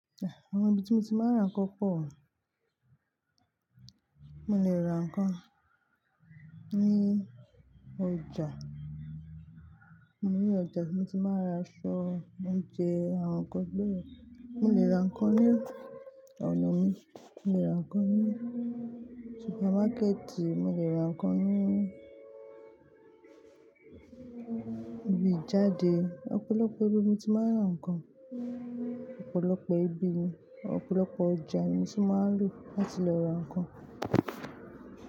Àh! Àwọn ibi tí mo ti máa ń ra nǹkan pọ̀. Mo lè ra nǹkan ní ọjà, mo ní ọjà tí mo ti máa ń ra aṣọ, oúnjẹ, àwọn nǹkan bẹ́yen. Mo lè ra nǹkan ní ọ̀nà mi, mo lè ra nǹkan ní supermákẹ́ẹ̀tì, mo lè ra nǹkan ní ibi ìjáde. Ọ̀pọ̀lọpọ̀ ibi mo ti máa ń ra nǹkan, ọ̀pọ̀lọpọ̀ ibi, ọ̀pọ̀lọpọ̀ ọjà ni mo ti máa ń lò láti lọ ra nǹkan.